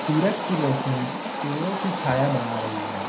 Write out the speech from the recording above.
सूरज की रोशनी पेड़ों की छाया बना रही है।